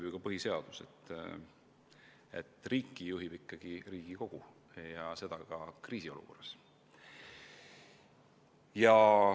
Ka põhiseadus ütleb, et riiki juhib ikkagi Riigikogu, ka kriisiolukorras.